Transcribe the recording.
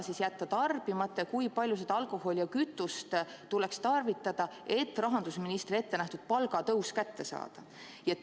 Mida jätta tarbimata ja kui palju alkoholi ning kütust tuleks tarvitada, et rahandusministri ettenähtud palgatõus kätte saada?